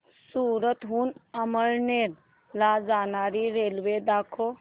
सूरत हून अमळनेर ला जाणारी रेल्वे दाखव